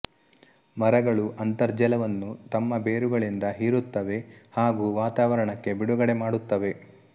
ಮರಗಳು ಅಂತರ್ಜಲವನ್ನು ತಮ್ಮ ಬೇರುಗಳಿಂದ ಹೀರುತ್ತವೆ ಹಾಗೂ ವಾತಾವರಣಕ್ಕೆ ಬಿಡುಗಡೆ ಮಾಡುತ್ತವೆ